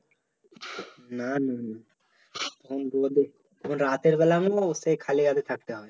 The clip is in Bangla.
না রাতের বেলা সেই খালি হাতে থাকতে হবে